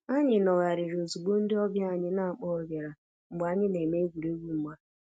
Anyị nọgharịrị ozugbo ndị ọbịa anyị n'akpoghi biara mgbe anyị na-eme egwuregwu mgba